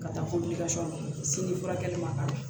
Ka taa furakɛli ma ka